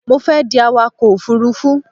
Mo fẹ́ di awakọ̀ òfurufú